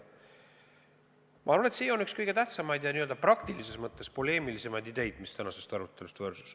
Ma arvan, et sealt tuli üks kõige tähtsamaid ja praktilises mõttes poleemilisemaid ideid, mis tänasest arutelust võrsus.